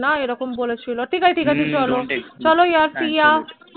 না এই রকম বলেছিল ঠিক আছে ঠিক আছে চলো যার see ya